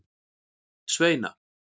Sveina